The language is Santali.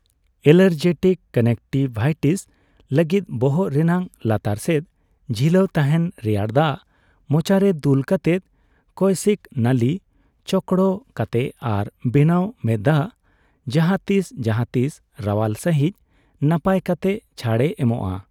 ᱮᱞᱟᱨᱡᱤᱴᱤᱠ ᱠᱚᱱᱡᱮᱠᱴᱤᱵᱷᱟᱭᱴᱤᱥ ᱞᱟᱹᱜᱤᱫ, ᱵᱚᱦᱚᱜ ᱨᱮᱱᱟᱜ ᱞᱟᱛᱟᱨ ᱥᱮᱫ ᱡᱷᱤᱞᱟᱹᱣ ᱛᱟᱦᱮᱱ ᱨᱮᱭᱟᱲ ᱫᱟᱜ ᱢᱚᱪᱟᱨᱮ ᱫᱩᱞ ᱠᱟᱛᱮᱫ ᱠᱳᱭᱥᱤᱠ ᱱᱟᱞᱤ ᱪᱳᱠᱲᱳ ᱠᱟᱛᱮ ᱟᱨ ᱵᱮᱱᱟᱣ ᱢᱮᱸᱛᱫᱟᱜ ᱡᱟᱦᱟᱛᱤᱥ ᱡᱟᱦᱟᱛᱤᱥ ᱨᱟᱣᱟᱞ ᱥᱟᱺᱦᱤᱡ ᱱᱟᱯᱟᱭ ᱠᱟᱛᱮ ᱪᱷᱟᱲᱮ ᱮᱢᱚᱜᱼᱟ ᱾